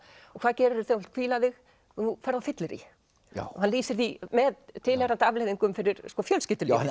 og hvað gerirðu þegar þú vilt hvíla þig þú ferð á fyllerí og hann lýsir því með tilheyrandi afleiðingum fyrir fjölskyldulífið